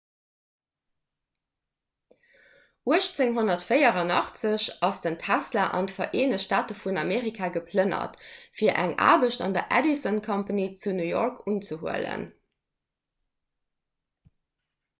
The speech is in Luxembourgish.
1884 ass den tesla an d'vereenegt staate vun amerika geplënnert fir eng aarbecht bei der edison company zu new york city unzehuelen